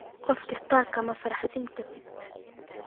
Qof kistaa kama faraxsinkartid.